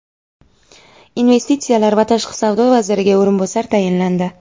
Investitsiyalar va tashqi savdo vaziriga o‘rinbosar tayinlandi.